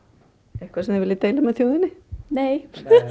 eitthvað sem þið viljið deila með þjóðinni nei